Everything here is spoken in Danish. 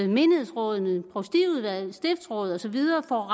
menighedsråd provstiudvalg stiftsråd og så videre får